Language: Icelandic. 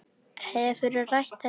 Hefurðu rætt þetta við hann?